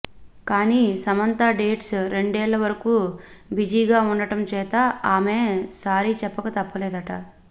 కాని సమంత డేట్స్ రెండేళ్ల వరకు బిజీగా ఉండటం చేత ఆమె సారీ చెప్పక తప్పలేదట